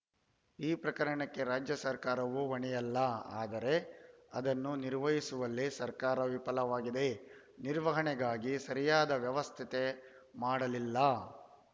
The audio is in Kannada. ಈ ಪ್ರಕರಣಕ್ಕೆ ರಾಜ್ಯ ಸರ್ಕಾರವು ಹೊಣೆಯಲ್ಲ ಆದರೆ ಅದನ್ನು ನಿರ್ವಹಿಸುವಲ್ಲಿ ಸರ್ಕಾರ ವಿಫಲವಾಗಿದೆ ನಿರ್ವಹಣೆಗಾಗಿ ಸರಿಯಾದ ವ್ಯವಸ್ಥೆತೆ ಮಾಡಲಿಲ್ಲ